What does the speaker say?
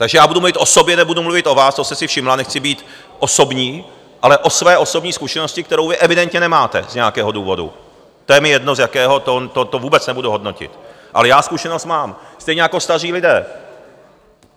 Takže já budu mluvit o sobě, nebudu mluvit o vás, to jste si všimla, nechci být osobní, ale o své osobní zkušenosti, kterou vy evidentně nemáte z nějakého důvodu, to je mi jedno, z jakého, to vůbec nebudu hodnotit, ale já zkušenost mám, stejně jako staří lidé.